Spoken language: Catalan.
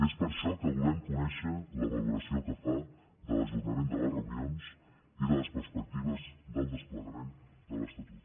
és per això que volem conèixer la valoració que fa de l’ajornament de les reunions i de les perspectives del desplegament de l’estatut